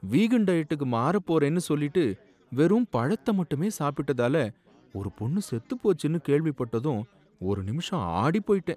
vegan டயட்டுக்கு மாறப் போறேன்னு சொல்லிட்டு வெறும் பழத்த மட்டுமே சாப்பிட்டதால, ஒரு பொண்ணு செத்துப் போச்சுனு கேள்விப்பட்டதும் ஒரு நிமிஷம் ஆடிப் போயிட்டேன்